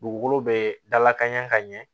Dugukolo bɛ dalakan ɲɛ ka ɲɛ